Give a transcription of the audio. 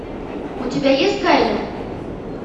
у тебя есть гайлер